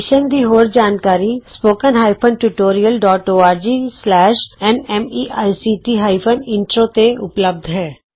mission ਦੀ ਹੋਰ ਜਾਣਕਾਰੀ spoken hyphen tutorial dot ORG slash N MEICT hyphen intro ਤੇ ਉਪਲੱਭਧ ਹੈ